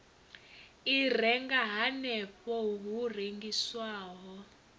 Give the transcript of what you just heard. i renga hanefho hu rengiswaho